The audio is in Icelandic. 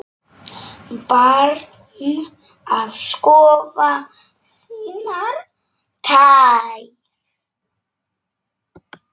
Barn að skoða sínar tær.